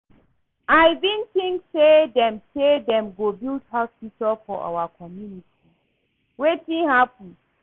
I bin think say dem say dem go build hospital for our community, wetin happen?